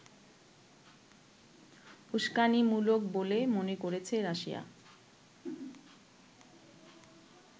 উস্কানিমূলক বলে মনে করেছে রাশিয়া